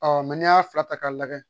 Ɔ n'i y'a ta k'a lajɛ